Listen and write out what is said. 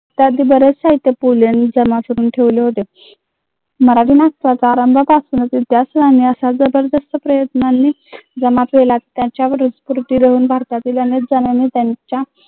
ठेवले होते जमा केला भारतातील अनेक जणाने त्यांच्या